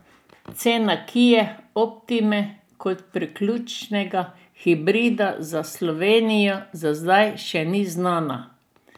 Cena kie optime kot priključnega hibrida za Slovenijo za zdaj še ni znana.